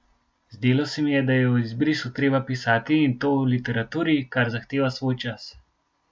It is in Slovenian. Zdelo se mi je, da je o izbrisu treba pisati, in to v literaturi, kar zahteva svoj čas.